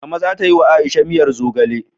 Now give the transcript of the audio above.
Mama za ta yi wa Aisha miyar zogale.